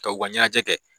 Ka u ka ɲɛnajɛ kɛ